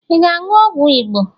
Ị ga-aṅụ ọgwụ Igbo?